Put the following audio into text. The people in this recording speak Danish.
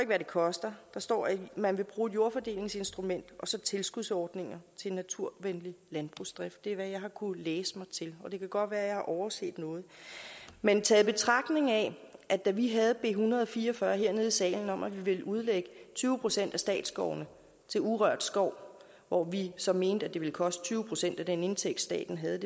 hvad det koster der står at man vil bruge et jordfordelingsinstrument og så tilskudsordninger til naturvenlig landbrugsdrift det er hvad jeg har kunnet læse mig til det kan godt være jeg har overset noget men taget i betragtning af at da vi havde b en hundrede og fire og fyrre hernede i salen om at vi ville udlægge tyve procent af statsskovene til urørt skov hvor vi så mente det ville koste tyve procent af den indtægt staten havde